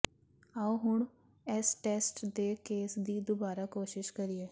ਆਉ ਹੁਣ ਇਸ ਟੈਸਟ ਦੇ ਕੇਸ ਦੀ ਦੁਬਾਰਾ ਕੋਸ਼ਿਸ਼ ਕਰੀਏ